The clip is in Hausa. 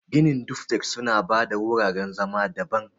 Ginin duflek suna ba da wuraren zama daban.